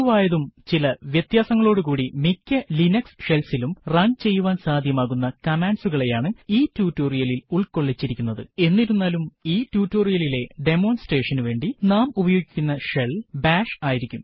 പൊതുവായതും ചില വ്യത്യാസങ്ങളോടുകൂടി മിക്ക ലിനക്സ് ഷെൽസ് ഇലും run ചെയ്യുവാൻ സാധ്യമാകുന്ന കമാൻഡ്കളെയാണ് ഈ ട്യൂട്ടോറിയലിൽ ഉൾക്കൊള്ളിച്ചിരിക്കുന്നത് എന്നിരുന്നാലും ഈ ട്യൂട്ടോറിയലിലെ demonstrationനു വേണ്ടി നാം ഉപയോഗിക്കുന്ന ഷെൽ ബാഷ് ആയിരിക്കും